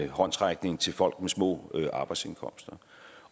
håndsrækning til folk med små arbejdsindkomster